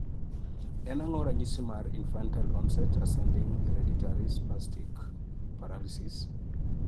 En ang'o ranyisi mar infantile onset ascending hereditary spastic paralysis?